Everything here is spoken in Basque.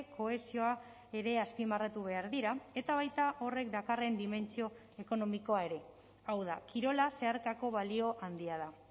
kohesioa ere azpimarratu behar dira eta baita horrek dakarren dimentsio ekonomikoa ere hau da kirola zeharkako balio handia da